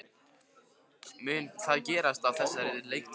Mun það gerast á þessari leiktíð?